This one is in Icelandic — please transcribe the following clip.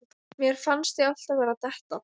Mér fannst ég alltaf vera að detta.